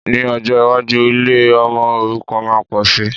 Ní ọjọ́ iwájú, ilé ọmọ òrukàn máa pòsi